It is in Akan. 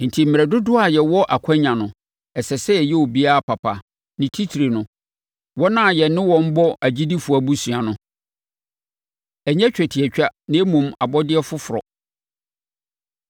Enti, mmerɛ dodoɔ a yɛwɔ akwannya no, ɛsɛ sɛ yɛyɛ obiara papa, ne titire no, wɔn a yɛne wɔn bɔ agyidifoɔ abusua. Ɛnyɛ Twetiatwa Na Mmom Abɔdeɛ Foforɔ